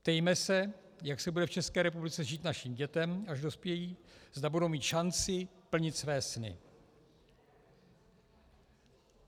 Ptejme se, jak se bude v České republice žít našim dětem, až dospějí, zda budou mít šanci plnit své sny.